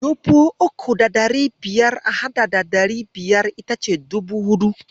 Dubu uku da ɗari biyar a haɗa da ɗari biyar itace dubu huɗu.